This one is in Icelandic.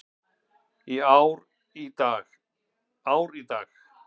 Ár í dag.